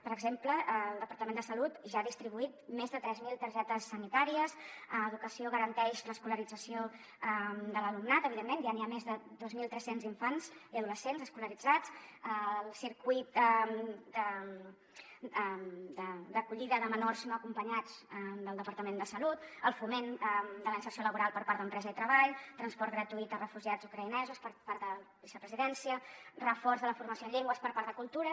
per exemple el departament de salut ja ha distribuït més de tres mil targetes sanitàries educació garanteix l’escolarització de l’alumnat evidentment ja hi ha més de dos mil tres cents infants i adolescents escolaritzats el circuit d’acollida de menors no acompanyats del departament de salut el foment de la inserció laboral per part d’empresa i treball transport gratuït a refugiats ucraïnesos per part de vicepresidència reforç de la formació en llengües per part de cultura